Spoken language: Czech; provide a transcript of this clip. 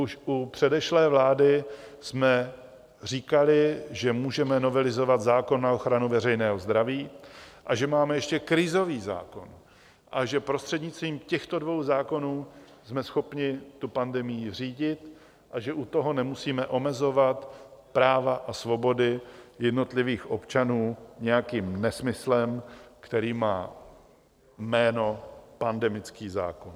Už u předešlé vlády jsme říkali, že můžeme novelizovat zákon na ochranu veřejného zdraví a že máme ještě krizový zákon a že prostřednictvím těchto dvou zákonů jsme schopni tu pandemii řídit a že u toho nemusíme omezovat práva a svobody jednotlivých občanů nějakým nesmyslem, který má jméno pandemický zákon.